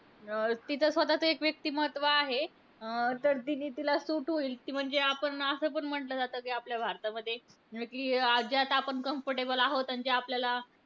अं तिचं स्वतःचं एक व्यक्तिमत्त्व आहे. अं तर ती जे तिला suit होईल. किंवा जे आपण असं पण म्हटलं जातं, कि आपल्या भारतामध्ये अं कि ज्यात आपण comfortable आहोत. आणि जे आपल्याला